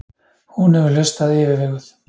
Hún hefur hlustað yfirveguð.